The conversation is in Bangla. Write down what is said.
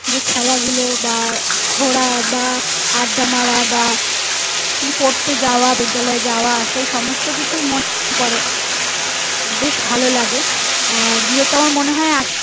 যে খেলা গুলো বা ঘোড়া বা আড্ডা মারা বা পড়তে যাওয়া বিদ্যালয় যাওয়া সেই সমস্ত কিছুই মনে পরে বেশ ভালো লাগে আহ গিয়ে তারপর মনে হয় আস্তে